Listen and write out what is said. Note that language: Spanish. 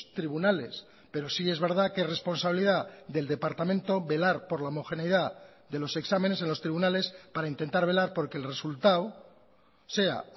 tribunales pero sí es verdad que es responsabilidad del departamento velar por la homogeneidad de los exámenes en los tribunales para intentar velar porque el resultado sea